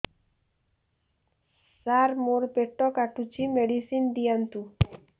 ସାର ମୋର ପେଟ କାଟୁଚି ମେଡିସିନ ଦିଆଉନ୍ତୁ